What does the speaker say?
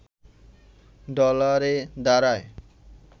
ডলারে দাঁড়ায়